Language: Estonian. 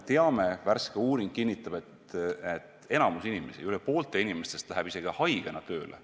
Värske uuring kinnitab, et enamik inimesi, üle poolte inimestest läheb isegi haigena tööle.